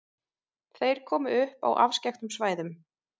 Þeir komu upp á afskekktum svæðum.